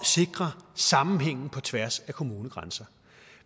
sikre sammenhængen på tværs af kommunegrænserne